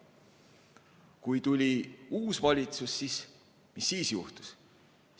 Kui tuli uus valitsus, mis siis juhtus?